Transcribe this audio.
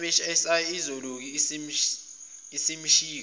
mhsi iyilokhu isemshika